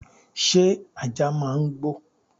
Sé ajá máa ń gbó